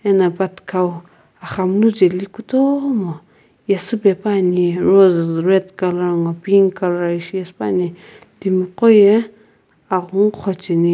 ena pathikhau axamunu jeli kutomo yesüpepuani rose red ngo pink colour ishi yesü puani timi qo ye aghungu qhocheni.